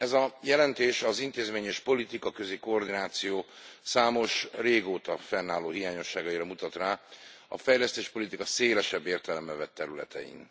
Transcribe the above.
Ez a jelentés az intézményes politikaközi koordináció számos, régóta fennálló hiányosságára mutat rá a fejlesztéspolitika szélesebb értelemben vett területein.